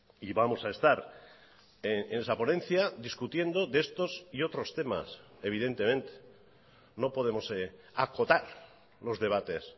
y vamos a estar en esa ponencia discutiendo de estos y otros temas evidentemente no podemos acotar los debates